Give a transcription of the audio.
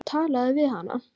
Talaðu við hana.